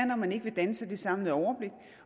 at man ikke vil danne sig det samlede overblik